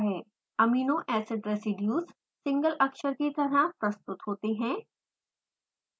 amino acid residues single अक्षर की तरह प्रस्तुत होते हैं